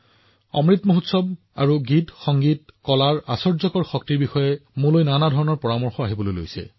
অমৃত মহোৎসৱ আৰু গীত আৰু সংগীতৰ এই শক্তিৰ ওপৰত মই আপোনালোকৰ পৰা বহুতো পৰামৰ্শ লাভ কৰিছো